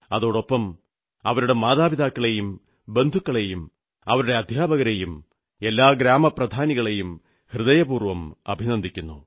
അതോടൊപ്പം അവരുടെ മാതാപിതാക്കളെയും ബന്ധുക്കളെയും അവരുടെ അദ്ധ്യാപകരെയും എല്ലാ ഗ്രാമപ്രധാനികളെയും ഹൃദയപൂർവ്വം അഭിനന്ദിക്കുന്നു